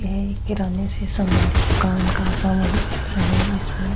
ये एक किराने से संबंधित समान का सामूहिक चित्र है जिसमे --